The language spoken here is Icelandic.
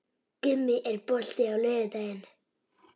Gummi, er bolti á laugardaginn?